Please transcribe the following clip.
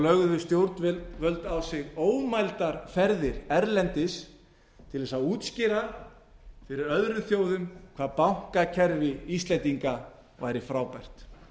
lögðu stjórnvöld á sig ómældar ferðir erlendis til þess að útskýra fyrir öðrum þjóðum hvað bankakerfi íslendinga væri frábært